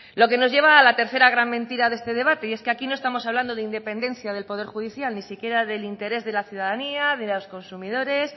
lo que nos lleva a la tercera gran mentira de este debate y es que aquí no estamos hablando de independencia del poder judicial ni siquiera del interés de la ciudadanía de los consumidores